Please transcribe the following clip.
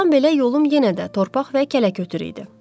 Burdan belə yolum yenə də torpaq və kələkötür idi.